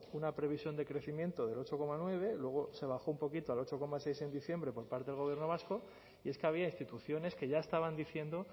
una previsión de crecimiento del ocho coma nueve luego se bajó un poquito al ocho coma seis en diciembre por parte del gobierno vasco y es que había instituciones que ya estaban diciendo